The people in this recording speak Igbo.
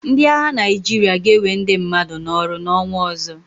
Ndị agha Naịjirịa ga-enwe ndị mmadụ n'ọrụ n'ọnwa ọzọ.